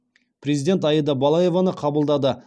президент аида балаеваны қабылдады